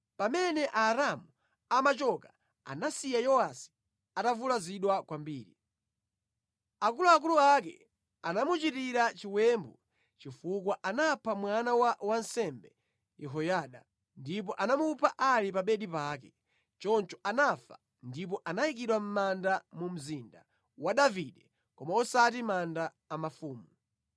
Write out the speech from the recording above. Pamene Aaramu amachoka, anasiya Yowasi atavulazidwa kwambiri. Akuluakulu ake anamuchitira chiwembu chifukwa anapha mwana wa wansembe Yehoyada, ndipo anamupha ali pa bedi pake. Choncho anafa ndipo anayikidwa mʼmanda mu mzinda wa Davide, koma osati manda a mafumu.